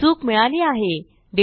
चूक मिळाली आहे